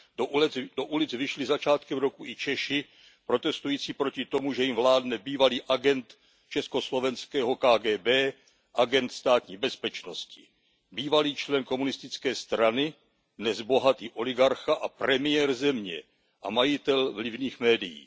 Do ulic vyšli začátkem roku i Češi protestující proti tomu, že jim vládne bývalý agent československého KGB, agent Státní bezpečnosti, bývalý člen komunistické strany, dnes bohatý oligarcha a premiér země a majitel vlivných médií.